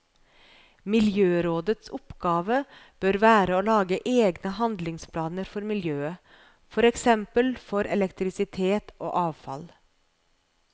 Miljørådets oppgave bør være å lage egne handlingsplaner for miljøet, for eksempel for elektrisitet og avfall.